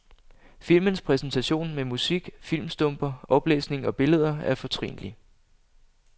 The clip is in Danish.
Filmens præsentation med musik, filmstumper, oplæsning og billeder er fortrinlig.